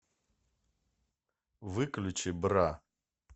выключи бра